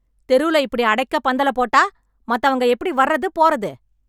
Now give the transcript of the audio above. தெருல இப்டி அடைக்க பந்தல போட்டா, மத்தவங்க எப்டி வாரது போறது...